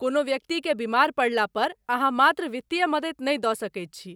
कोनो व्यक्तिके बीमार पड़ला पर अहाँ मात्र वित्तीय मदति नहि दऽ सकैत छी।